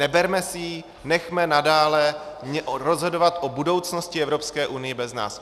Neberme si ji, nenechme nadále rozhodovat o budoucnosti Evropské unie bez nás.